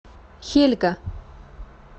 хельга